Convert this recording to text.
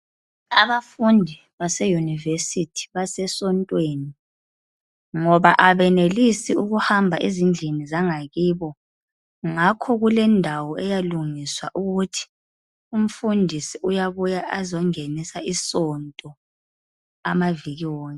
Abafundi base Yunivesithi base sontweni ngoba abenelisi ukuhamba ezindlini zangakibo, ngakho kulendawo eyalungiswa ukuthi umfundisi uyabuya azongenisa isonto amaviki wonke.